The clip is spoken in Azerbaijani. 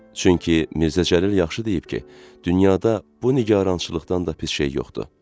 Çünki Mirzəcəlil yaxşı deyib ki, dünyada bu nigarançılıqdan da pis şey yoxdu.